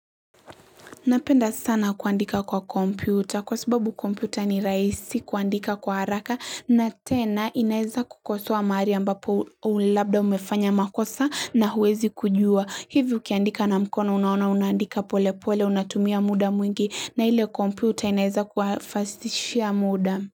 Napenda sana kuandika kwa kompyuta kwa sababu kompyuta ni rahisi kuandika kwa haraka na tena inaeza kukosoa maari ambapo ulabda umefanya makosa na huwezi kujua. Hivyo ukiandika na mkono unaona unaandika pole pole unatumia muda mwingi na ile kompyuta inaeza kufastishia muda.